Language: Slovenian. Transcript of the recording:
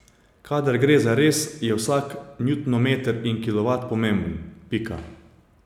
Kadar gre zares, je vsak njutonmeter in kilovat pomemben, pika.